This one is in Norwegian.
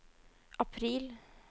april